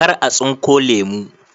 Kar a tsunko lemu